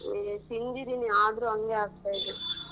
ಏ ತಿಂದಿದೀನಿ ಆದ್ರೂ ಹಂಗೆ ಆಗ್ತಾ ಇದೆ .